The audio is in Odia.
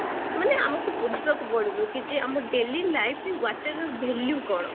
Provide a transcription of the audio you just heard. ମାନେ ଆମକୁ ବୁଝିବାକୁ ପଡିବ କି ଯେ ଆମ daily life ରେ water ର value କ'ଣ?